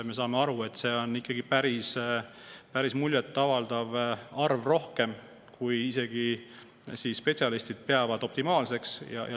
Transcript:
Me saame aru, et see on ikkagi päris rohkem, kui spetsialistid optimaalseks peavad.